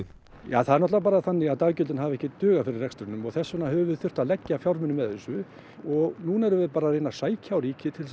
það er náttúrulega bara þannig að daggjöldin hafa ekki dugað fyrir rekstrinum og þess vegna höfum við þurft að leggja fjármuni með þessu og núna erum við bara að reyna að sækja á ríkið til